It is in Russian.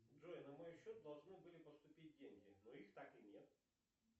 джой на мой счет должны были поступить деньги но их так и нет